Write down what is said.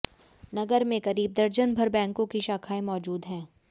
नगर में करीब दर्जन भर बैंकों की शाखाएं मौजूद है